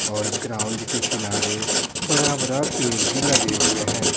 और ग्राउंड के किनारे बड़ा-बड़ा पेर भी लगे हुए हैं।